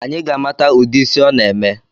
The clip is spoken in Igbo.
Anyi ga-amata udi ịsị ọ na-eme